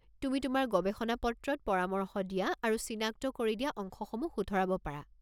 তুমি তোমাৰ গৱেষণা-পত্ৰত পৰামৰ্শ দিয়া আৰু চিনাক্ত কৰি দিয়া অংশসমূহ শুধৰাব পাৰা।